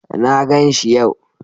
Na ganshi yau.